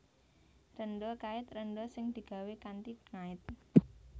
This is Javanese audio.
Rénda kait rénda sing digawé kanthi ngait